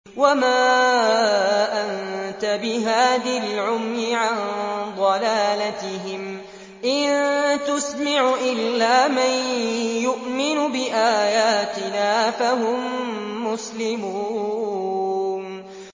وَمَا أَنتَ بِهَادِ الْعُمْيِ عَن ضَلَالَتِهِمْ ۖ إِن تُسْمِعُ إِلَّا مَن يُؤْمِنُ بِآيَاتِنَا فَهُم مُّسْلِمُونَ